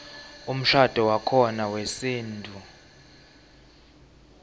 umshadvo wakhona wesintfu